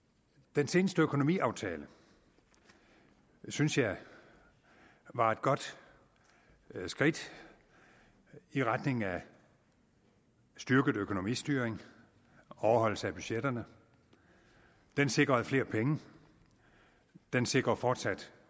den seneste økonomiaftale synes jeg var et godt skridt i retning af styrket økonomistyring og overholdelse af budgetterne den sikrede flere penge den sikrer en fortsat